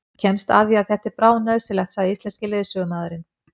Þú kemst að því að þetta er bráðnauðsynlegt, sagði íslenski leiðsögumaðurinn.